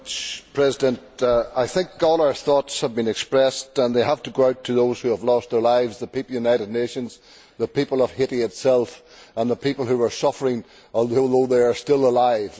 Mr President, I think all our thoughts have been expressed and they have to go out to those who have lost their lives the people of the United Nations, the people of Haiti itself and the people who are suffering although they are still alive.